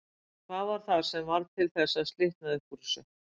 Hvað var það sem varð til þess að slitnaði upp úr þessu?